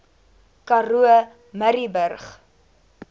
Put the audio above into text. karoo murrayburg